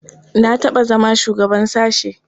Na taɓa zama shugaban sashe.